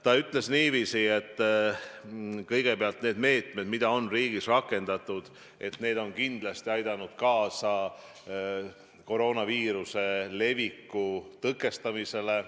Ta ütles niiviisi, et meetmed, mida on riigis rakendatud, on kindlasti aidanud kaasa koroonaviiruse leviku tõkestamisele.